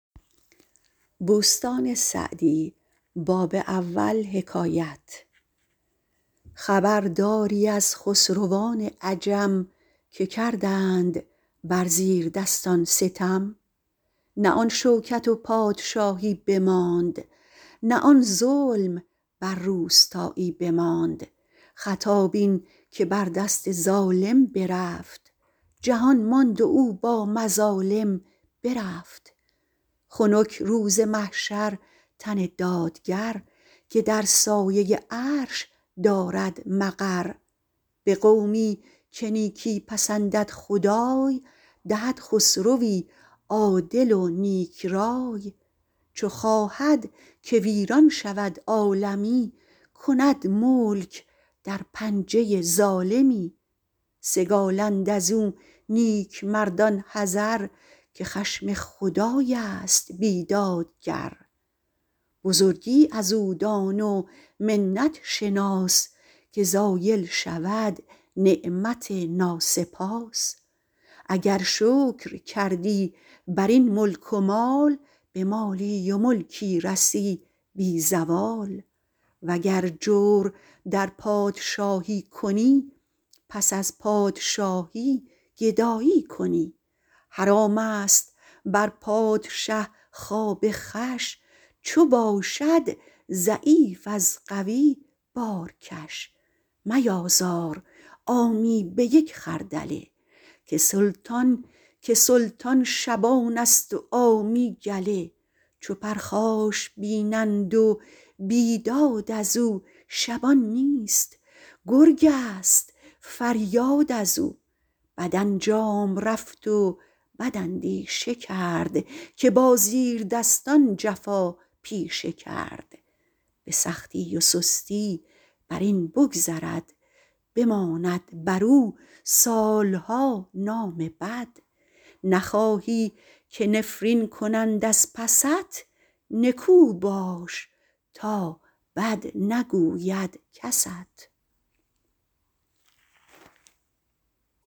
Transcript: خبرداری از خسروان عجم که کردند بر زیردستان ستم نه آن شوکت و پادشایی بماند نه آن ظلم بر روستایی بماند خطا بین که بر دست ظالم برفت جهان ماند و با او مظالم برفت خنک روز محشر تن دادگر که در سایه عرش دارد مقر به قومی که نیکی پسندد خدای دهد خسروی عادل و نیک رای چو خواهد که ویران شود عالمی کند ملک در پنجه ظالمی سگالند از او نیکمردان حذر که خشم خدای است بیدادگر بزرگی از او دان و منت شناس که زایل شود نعمت ناسپاس اگر شکر کردی بر این ملک و مال به مالی و ملکی رسی بی زوال وگر جور در پادشایی کنی پس از پادشایی گدایی کنی حرام است بر پادشه خواب خوش چو باشد ضعیف از قوی بارکش میازار عامی به یک خردله که سلطان شبان است و عامی گله چو پرخاش بینند و بیداد از او شبان نیست گرگ است فریاد از او بد انجام رفت و بد اندیشه کرد که با زیردستان جفا پیشه کرد به سختی و سستی بر این بگذرد بماند بر او سالها نام بد نخواهی که نفرین کنند از پست نکو باش تا بد نگوید کست